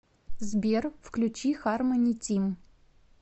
сбер включи хармони тим